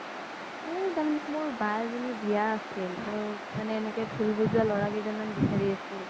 অ তাৰ মানে মোৰ বা এজনিৰ বিয়া আছিল ত মানে এনেকে ধুল বজুৱা লোৰা কেইজ্ন মান বিচাৰি আছিল